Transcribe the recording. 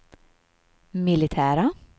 militära